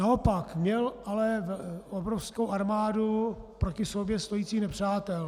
Naopak měl ale obrovskou armádu proti sobě stojících nepřátel.